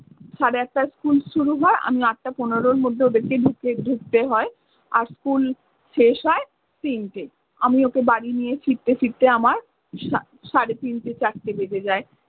সাড়ে আটটায় school শুরু হয়। আমি আটটা পনেরোর মধ্যে ওদেরকে ঢুকি~ ঢুকতে হয়। আর school শেষ হয় তিনটেয়। আমি ওকে বাড়ি নিয়ে ফিরতে ফিরতে আমার সা~ সাড়ে তিনটে চারটে বেজে যায়।